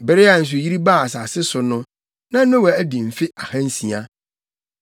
Bere a nsuyiri baa asase so no, na Noa adi mfe ahansia.